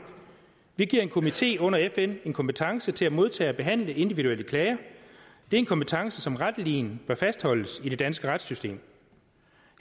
vi giver en komité under fn en kompetence til at modtage og behandle individuelle klager det er en kompetence som retteligen bør fastholdes i det danske retssystem